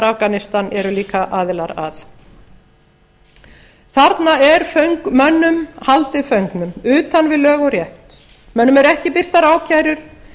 afganistan eru líka aðilar að þarna er mönnum haldið föngnum utan við lög og rétt mönnum eru ekki birtar ákærur